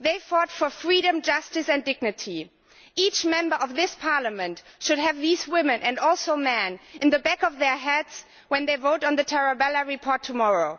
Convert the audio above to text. They fought for freedom, justice and dignity. Each Member of this Parliament should have these women, and also men, in the back of their heads when they vote on the Tarabella report tomorrow.